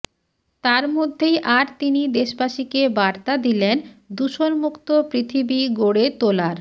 তার মধ্যেই আর তিনি দেশবাসীকে বার্তা দিলেন দূষণমুক্ত পৃথিবী গড়ে তোলার